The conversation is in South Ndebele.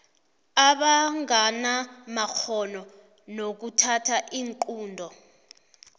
abanganamakghono nokuthatha iinqunto